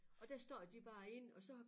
Og der står de bare inde og så